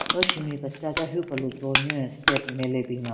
Ro shenbin kechacha hyu kelu jo nyü step nme le binyon.